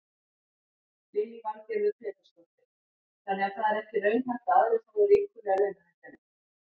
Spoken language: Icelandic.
Lillý Valgerður Pétursdóttir: Þannig að það er ekki raunhæft að aðrir fái ríkulegar launahækkanir?